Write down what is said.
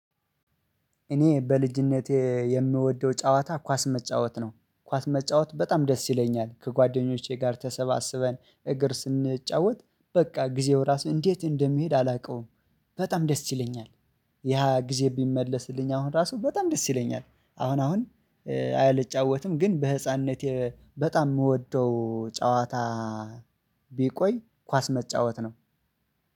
እኔ በልጅነቴ የምወደው ጨዋታ ኳስ መጫወት ነው። ኳስ መጫወት በጣም ደስ ይለኛል፤ ከጓደኞቼ ጋር ተሰባስበን እግር ስንጫወት፤ በቃ ጊዜው ራስን እንዴት እንደሚሄድ አላውቀውም በጣም ደስ ይለኛል። ያ ጊዜ ቢመለስልኝ አሁን ራሱ በጣም ደስ ይለኛል። አሁን አሁን ግን በህፃንነቴ በጣም የምወደው ጨዋታ ቢቆይ ኳስ መጫወት ነው።